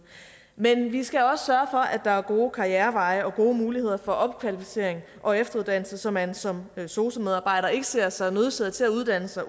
men vi skal at der er gode karriereveje og gode muligheder for opkvalificering og efteruddannelse så man som sosu medarbejder ikke ser sig nødsaget til at uddanne sig